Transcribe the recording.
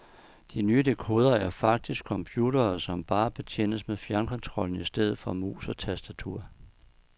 De nye dekodere er faktisk computere som bare betjenes med fjernkontrollen i stedet for mus og tastatur.